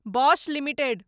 Bosch limited